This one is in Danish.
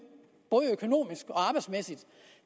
både økonomisk og arbejdsmæssigt